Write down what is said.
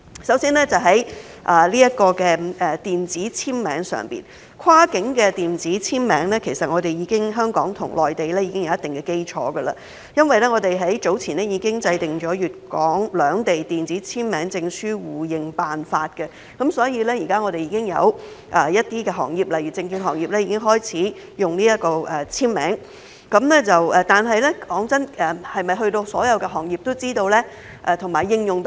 首先，在電子簽名方面，香港與內地其實已有一定基礎，因為我們早前已制訂了粵港兩地電子簽名證書互認辦法，所以現時有些行業已經開始使用電子簽名，但老實說，是否所有行業都了解和應用得上呢？